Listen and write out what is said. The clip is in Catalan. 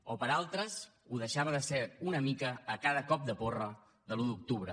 o per a altres ho deixava de ser una mica a cada cop de porra de l’un d’octubre